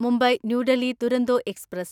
Mumbai New Delhi Duronto express